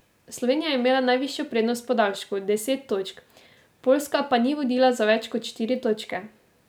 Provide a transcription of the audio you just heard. Slovenija je imela najvišjo prednost v podaljšku, deset točk, Poljska pa ni vodila za več kot štiri točke.